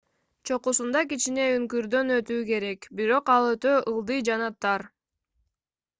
чокусунда кичине үңкүрдөн өтүү керек бирок ал өтө ылдый жана тар